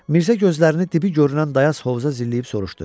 Mirzə gözlərini dibi görünən dayaz hovuza zilləyib soruşdu.